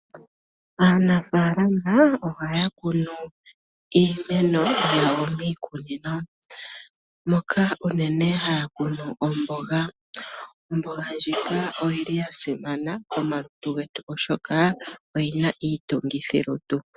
Aanafaalama ohaya kunu iimeno yawo miikunino, moka unene haya kunu omboga. Omboga ndjika oya simana komalutu getu oshoka oyina iitungithi lutu.